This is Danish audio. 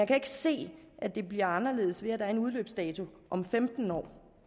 kan ikke se at det bliver anderledes ved at der er en udløbsdato om femten år